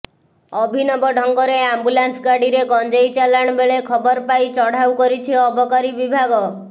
ଅଭିନବ ଢଙ୍ଗରେ ଆମ୍ବୁଲାନ୍ସ ଗାଡିରେ ଗଞ୍ଜେଇ ଚାଲାଣ ବେଳେ ଖବର ପାଇ ଚଢାଉ କରିଛି ଅବକାରୀ ବିଭାଗ